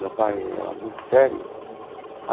Meu pai era muito sério.